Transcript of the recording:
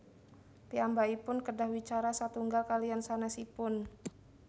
Piyambakipun kedah wicara satunggal kaliyan sanésipun